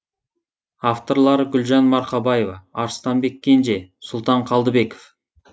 авторлары гүлжан марқабаева арыстанбек кенже сұлтан қалдыбеков